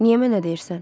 Niyə mənə deyirsən?